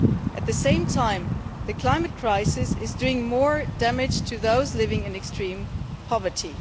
At the same time, the climate crisis is doing more damage to those living in extreme poverty.